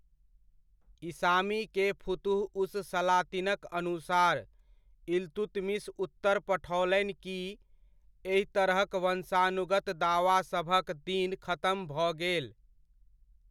इसामी के फुतुह उस सलातिनक अनुसार, इल्तुतमिश उत्तर पठओलनि कि एहि तरहक वंशानुगत दावासभक दिन खतम भऽ गेल।